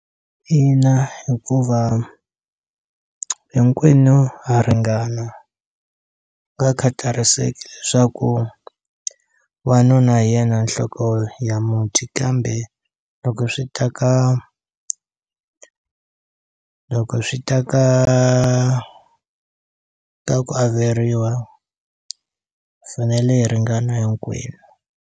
Ina hikuva hinkwenu ha ringana ka khatariseki leswaku wanuna hi yena nhloko ya muti kambe loko swi ta ka loko swi ta ka ka ku averiwa hi fanele hi ringana hinkwenu.